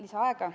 Palun!